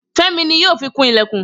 Femi ni yoo fi kun ilekun